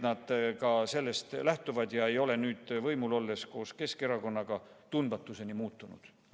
Loodan, et nad ei ole nüüd koos Keskerakonnaga võimul olles tundmatuseni muutunud.